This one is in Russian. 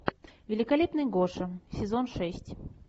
великолепный гоша сезон шесть